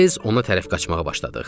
Tez ona tərəf qaçmağa başladıq.